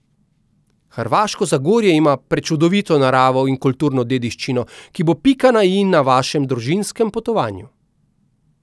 Hrvaško Zagorje ima prečudovito naravo in kulturno dediščino, ki bo pika na i na vašem družinskem potovanju.